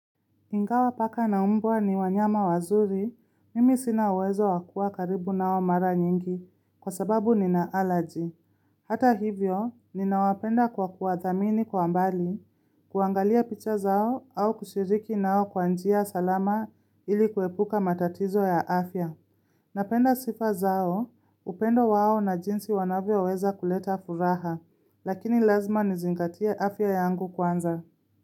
Ingawa paka na umbwa ni wanyama wazuri, mimi sina uwezo wa kuwa karibu nao mara nyingi kwa sababu nina allergy. Hata hivyo, ninawapenda kwa kuwathamini kwa mbali, kuangalia picha zao au kushiriki nao kwa njia salama ili kuepuka matatizo ya afya. Napenda sifa zao, upendo wao na jinsi wanavyoweza kuleta furaha, lakini lazima nizingatie afya yangu kwanza.